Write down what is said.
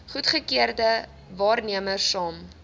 goedgekeurde waarnemers saam